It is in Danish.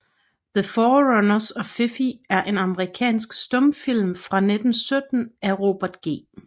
The Fortunes of Fifi er en amerikansk stumfilm fra 1917 af Robert G